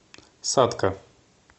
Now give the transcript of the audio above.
сатка